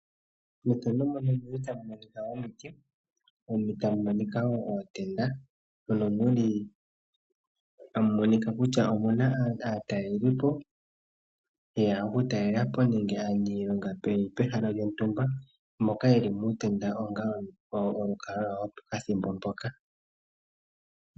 Methano muno omuli ta mu mokika omuti, muno ta mumonoka woo ootenda mono muli ta monika kutya omuna aatalelipo yeya oku talelapo nenge aanilonga peni pe hala lyo ntumba moka yeli motenda onga olukalwa lwo po kathimbo.